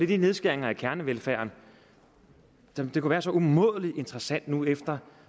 de nedskæringer i kernevelfærden som det kunne være så umådelig interessant nu efter